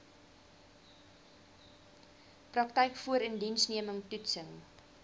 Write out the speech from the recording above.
praktyk voorindiensneming toetsing